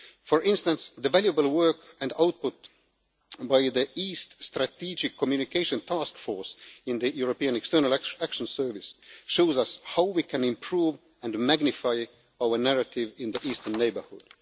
For instance, the valuable work and output by the East Strategic Communication Task Force in the European External Action Service shows us how we can improve and magnify our narrative in the eastern neighbourhood.